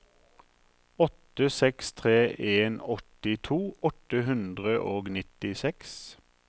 åtte seks tre en åttito åtte hundre og nittiseks